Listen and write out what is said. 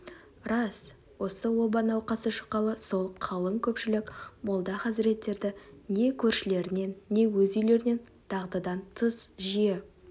рас осы оба науқасы шыққалы сол қалың көпшілік молда хазіреттерді не көршілерінен не өз үйлерінен дағдыдан тыс жиі